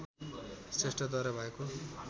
श्रेष्ठद्वारा भएको